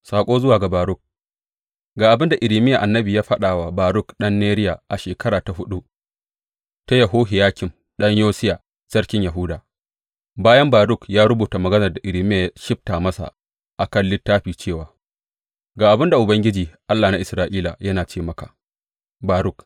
Saƙo zuwa ga Baruk Ga abin da Irmiya annabi ya faɗa wa Baruk ɗan Neriya a shekara ta huɗu ta Yehohiyakim ɗan Yosiya sarkin Yahuda, bayan Baruk ya rubuta maganar da Irmiya ya shibta masa a kan littafi cewa, Ga abin da Ubangiji, Allah na Isra’ila, yana ce maka, Baruk.